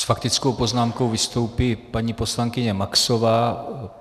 S faktickou poznámkou vystoupí paní poslankyně Maxová.